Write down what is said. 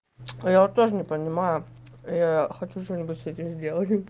я вот тоже не понимаю я хочу что-нибудь с этим сделать